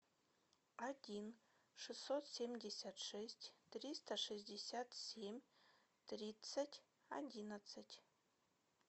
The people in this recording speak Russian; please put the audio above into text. один шестьсот семьдесят шесть триста шестьдесят семь тридцать одиннадцать